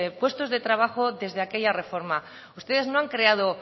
puestos de trabajo desde aquella reforma ustedes no han creado